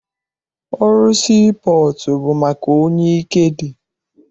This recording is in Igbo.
Ọrụ sii pọọtụ bụ maka onye ike dị.